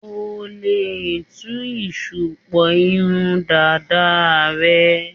O lè tú ìṣùpọ̀ irun dàda rẹ.